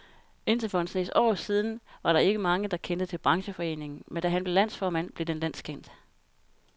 Indtil for en snes år siden var der ikke mange, der kendte til brancheforeningen, men da han blev landsformand, blev den landskendt.